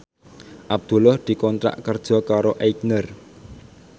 Abdullah dikontrak kerja karo Aigner